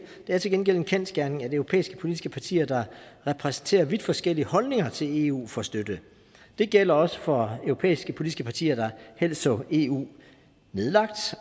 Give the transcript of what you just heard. er til gengæld en kendsgerning at europæiske politiske partier der repræsenterer vidt forskellige holdninger til eu får støtte det gælder også for europæiske politiske partier der helst så eu nedlagt